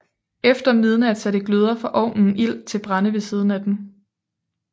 Efter midnat satte gløder fra ovnen ild til brænde ved siden af den